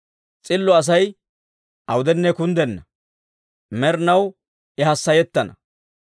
S'illo Asay awudenne kunddenna; med'inaw I hassayettana.